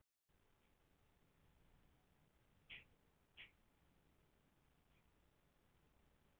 Gunnlaug, hvaða stoppistöð er næst mér?